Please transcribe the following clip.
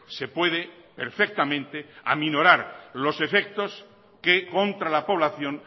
se puede perfectamente aminorar los efectos que contra la población